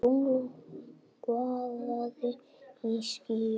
Tungl vaðandi í skýjum.